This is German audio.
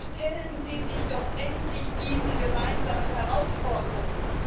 Stellen Sie sich doch endlich diesen gemeinsamen Herausforderungen!